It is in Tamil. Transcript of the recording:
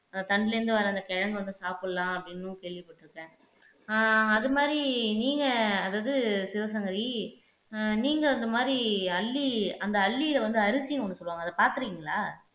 தண்டிலிருந்து வர அந்த கிழங்கு வந்து சாப்பிடலாம் அப்படின்னும் கேள்விப்பட்டிருக்கேன் ஆஹ் அது மாதிரி நீங்க அதாவது சிவசங்கரி ஆஹ் நீங்க அந்த மாதிரி அல்லி அந்த அல்லில வந்து அரிசி ஒண்ணு சொல்லுவாங்க அதைப் பார்த்திருக்கீங்களா